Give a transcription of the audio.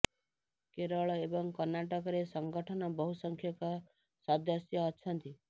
କେରଳ ଏବଂ କର୍ଣ୍ଣାଟକରେ ସଂଗଠନ ବହୁ ସଂଖ୍ୟକ ସଦସ୍ୟ ଅଛନ୍ତି